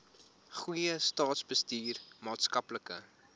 goeie staatsbestuur maatskaplike